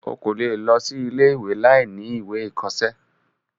o kò lè lọ sí ilé-ìwé láìní ìwé ìkọsẹ́.